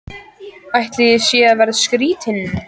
Ætli ég sé að verða skrýtin.